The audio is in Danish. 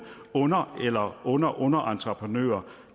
under eller underunderentreprenører